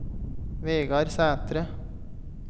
Vegard Sætre